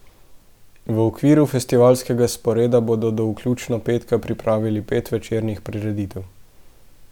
V okviru festivalskega sporeda bodo do vključno petka pripravili pet večernih prireditev.